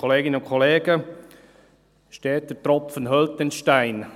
Steter Tropfen höhlt den Stein.